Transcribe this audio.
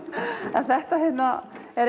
en þetta hérna er